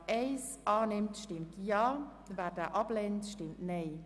Wer dem Antrag 4 zustimmt, stimmt Ja, wer diesen ablehnt, stimmt Nein.